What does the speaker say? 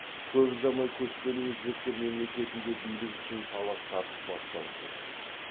көп ұзамай көшпелі өзбектер мемлекетінде билік үшін талас тартыс басталып кетеді